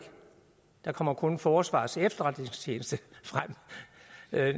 der kommer kun forsvarets efterretningstjeneste frem